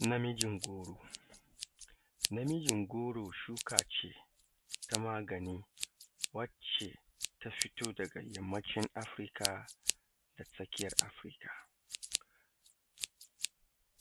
Namijin goro. Namijin goro shuka ce ta magani wacce ta fito daga yammacin afirka, da tsakiyar afirka,